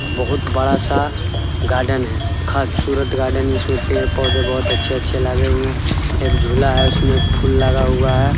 बहुत बड़ा-सा गार्डन है खबसूरत गार्डन | इसमें पेड़-पौधे बहुत अच्छे-अच्छे लगे हुए हैं| एक झुला है उसमें फूल लगा हुआ है ।